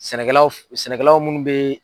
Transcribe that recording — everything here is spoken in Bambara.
Sɛnɛkɛlaw sɛnɛkɛlaw munnu bɛ